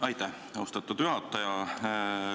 Aitäh, austatud juhataja!